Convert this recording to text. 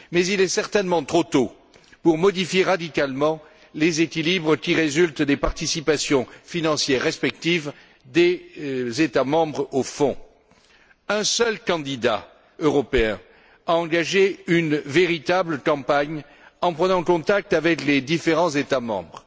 Mais il est certainement trop tôt pour modifier radicalement les équilibres qui résultent des participations financières respectives des États membres au Fonds. Un seul candidat européen a engagé une véritable campagne en prenant contact avec les différents États membres.